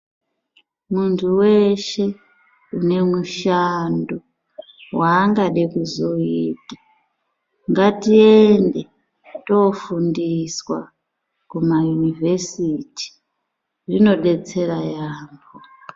Muntu weshe ane mushando wangada kuzoita ngatiende tofundiswa kumaunivhesiti zvinodetsera yaambo.